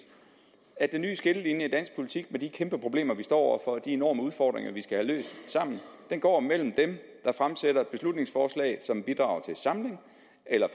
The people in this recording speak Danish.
at den nye skillelinje i dansk politik med de kæmpe problemer vi står over for og de enorme udfordringer vi skal have løst sammen går mellem dem der fremsætter beslutningsforslag som bidrager til samling